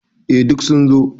Eh duk sun zo.